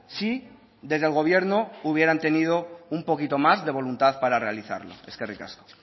si desde el gobierno hubieran tenido un poquito más de voluntad para realizarlo eskerrik asko